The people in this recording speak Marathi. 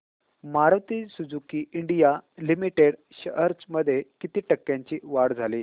Maruti Suzuki India limited shares मध्ये किती टक्क्यांची वाढ झाली